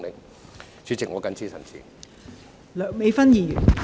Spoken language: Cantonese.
代理主席，我謹此陳辭。